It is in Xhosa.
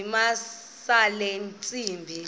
zamisa le ntsimbi